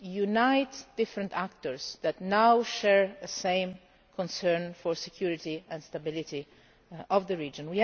uniting different actors which now share the same concern for the security and stability of the region.